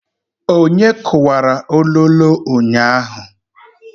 Onye kuwara ololo ụnyaahụ?